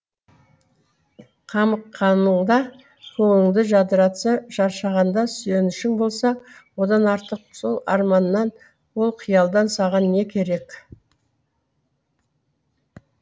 қамыққаныңда көңіліңді жадыратса шаршағанда сүйенішің болса одан артық ол арманнан ол қиялдан саған не керек